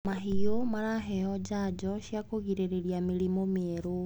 Mahiũ maraheo janjo cia kũgirĩrĩria mĩrimũ mĩerũ.